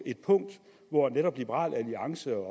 et punkt hvor netop liberal alliance og